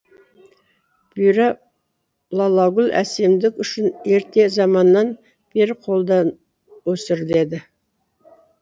бұйра лалагүл әсемдік үшін ерте заманнан бері қолдан өсіріледі